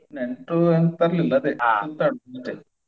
ನೆಂಟ್ರು ಎಂಥ ತರ್ಲಿಲ್ಲ ಆದೆ ಸುತ್ತಾಡುದು ಮತ್ತೆ.